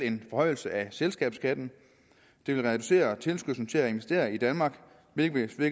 en forhøjelse af selskabsskatten det vil reducere tilskyndelsen til at investere i danmark hvilket vil